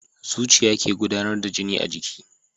Zuciya ke gudAnar da jini a jiki